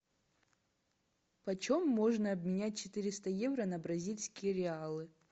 почем можно обменять четыреста евро на бразильские реалы